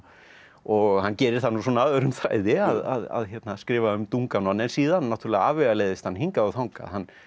og hann gerir það nú svona öðrum þræði að skrifa um Dunganon en síðan afvegaleiðist hann hingað og þangað hann